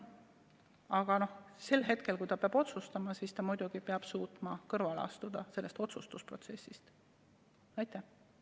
Aga sel hetkel, kui ta peab otsustama, siis ta muidugi peab suutma sellest otsustusprotsessist kõrvale astuda.